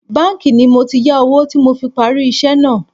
Báńkì ni mo ti yá owó tí mo fi parí iṣẹ́ náà